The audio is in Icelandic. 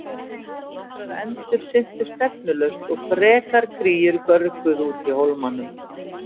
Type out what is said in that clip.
Nokkrar endur syntu stefnulaust og frekar kríur görguðu úti í hólmanum.